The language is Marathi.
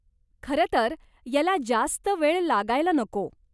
खरंतर, याला जास्त वेळ लागायला नको.